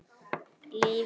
Líf um eilífð.